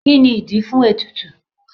Kí ni ìdí fún ètùtù?